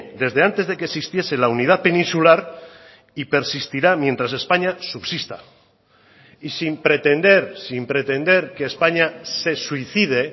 desde antes de que existiese la unidad peninsular y persistirá mientras españa subsista y sin pretender sin pretender que españa se suicide